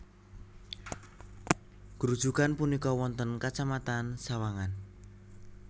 Grujugan punika wonten kecamatan Sawangan